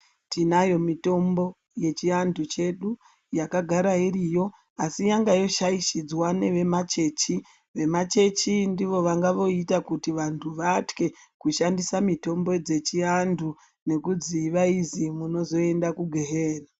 Tinayo mitombo yechiantu chedu yakagara iriyo asi yanga yoshaishidzwa nevemachechi. Vemachechi ndivo vanga voita kuti vanhu vatye kushandisa mitombo dzechiantu ngekuti vaizi munozoenda kugehena.